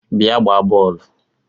Bia gbaa bọọlụ!!